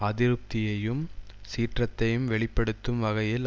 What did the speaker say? அதிருப்தியையும் சீற்றத்தையும் வெளி படுத்தும் வகையில்